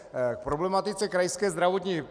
K problematice Krajské zdravotní.